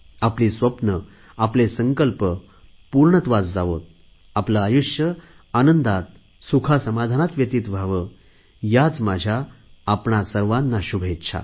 आपली स्वप्ने आपले संकल्प पूर्णत्वास जावोत आपले आयुष्य आनंदात सुखासमाधानात व्यतीत व्हावे याच माझ्या आपणा सर्वांना शुभेच्छा